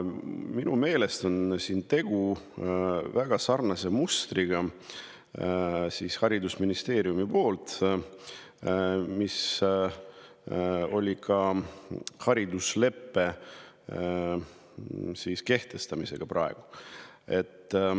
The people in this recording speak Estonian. Minu meelest on siin tegu sarnase mustriga, mida me oleme näinud haridusleppe kehtestamisel.